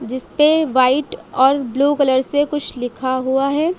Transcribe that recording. जिसपे वाइट और blue colour से कुछ लिखा हुआ है।